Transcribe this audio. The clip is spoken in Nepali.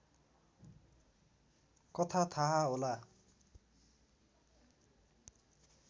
कथा थाहा होला